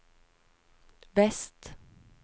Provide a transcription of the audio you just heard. vest